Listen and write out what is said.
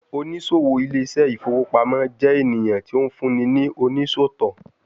Onisowo Ile ise ifowo pamo jẹ eniyan ti o funni ni onisọtọ